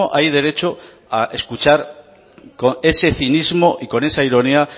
hay derecho a escuchar con ese cinismo y con esa ironía